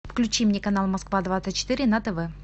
включи мне канал москва двадцать четыре на тв